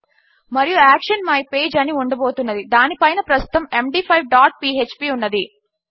మరియు action my page అని ఉండబోతున్నది దాని పైనే ప్రస్తుతము ఎండీ5 డాట్ పీఎచ్పీ ఉన్నది